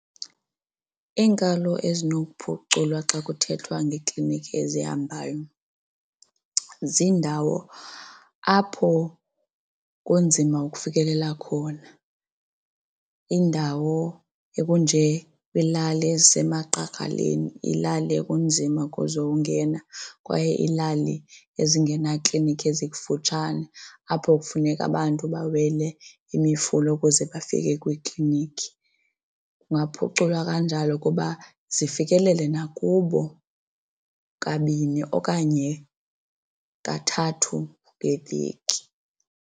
Iinkalo ezinokuphuculwa xa kuthethwa ngeeklinikhi ezihambayo ziindawo apho kunzima ukufikelela khona. Iindawo ekunjekweelali ezisemagqagaleni ilali ekunzima kuzo ungena kwaye iilali ezingena klinikhi ezikufutshane, apho kufuneka abantu bawele imifula ukuze bafike kwiiklinikhi. Kungaphuculwa kanjalo ukuba zifikelele nakubo kabini okanye kathathu ngeveki.